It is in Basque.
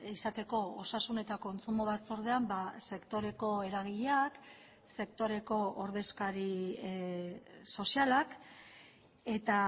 izateko osasun eta kontsumo batzordean sektoreko eragileak sektoreko ordezkari sozialak eta